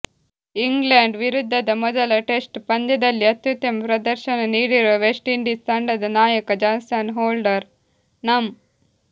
England ವಿರುದ್ಧದ ಮೊದಲ test ಪಂದ್ಯದಲ್ಲಿ ಅತ್ಯುತ್ತಮ ಪ್ರದರ್ಶನ ನೀಡಿರುವ ವೆಸ್ಟ್ ಇಂಡೀಸ್ ತಂಡದ ನಾಯಕ ಜಾಸನ್ ಹೋಲ್ಡರ್ ನಂ